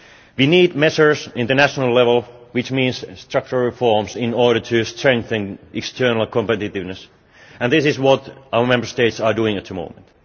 We need measures at international level, which means structural reforms in order to strengthen external competitiveness, and this is what our Member States are doing at the moment.